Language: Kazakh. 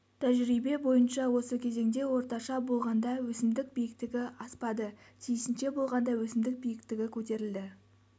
тәжірибе бойынша осы кезеңде орташа болғанда өсімдік биіктігі аспады тиісінше болғанда өсімдік биіктігі көтерілді